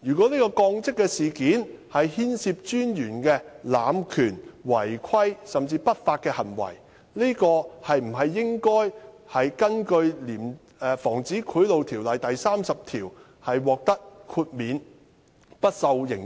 如果這降職事件牽涉專員的濫權、違規，甚至不法行為，應否根據《防止賄賂條例》第30條獲得豁免，不受刑責？